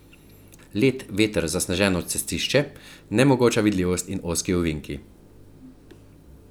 Led, veter, zasneženo cestišče, nemogoča vidljivost in ozki ovinki.